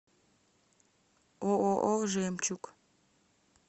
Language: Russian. ооо жемчуг